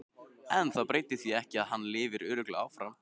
En það breytir því ekki að hann lifir örugglega áfram.